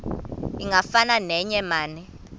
ingafana neye mane